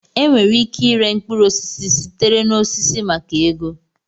Enwere ike ịre mkpụrụ osisi sitere na osisi maka ego